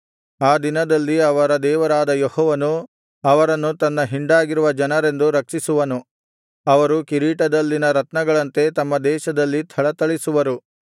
ಆ ದಿನದಲ್ಲಿ ಅವರ ದೇವರಾದ ಯೆಹೋವನು ಅವರನ್ನು ತನ್ನ ಹಿಂಡಾಗಿರುವ ಜನರೆಂದು ರಕ್ಷಿಸುವನು ಅವರು ಕಿರೀಟದಲ್ಲಿನ ರತ್ನಗಳಂತೆ ತಮ್ಮ ದೇಶದಲ್ಲಿ ಥಳಥಳಿಸುವರು